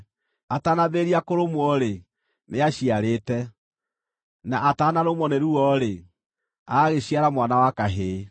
“Atanambĩrĩria kũrũmwo-rĩ, nĩaciarĩte: na ataanarũmwo nĩ ruo-rĩ, agagĩciara mwana wa kahĩĩ.